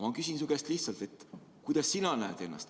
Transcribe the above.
Ma küsin su käest lihtsalt: kellena sina ennast näed?